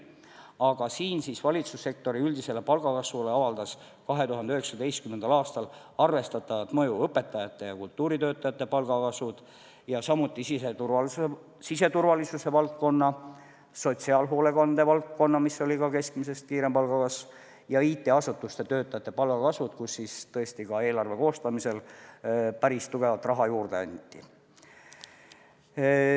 Aga valitsussektori üldisele palgakasvule avaldas 2019. aastal arvestatavat mõju õpetajate ja kultuuritöötajate palga kasv, samuti palgatõus siseturvalisuse ja sotsiaalhoolekande valdkonnas, mis oli ka keskmisest kiirem, ja IT-asutuste töötajate palga kasv, milleks tõesti ka eelarve koostamisel päris palju raha juurde anti.